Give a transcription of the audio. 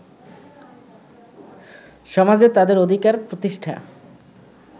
সমাজে তাদের অধিকার প্রতিষ্ঠা